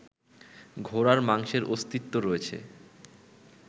ঘোড়ার মাংসের অস্তিত্ব রয়েছে